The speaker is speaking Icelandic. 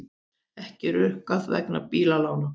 Ekki rukkað vegna bílalána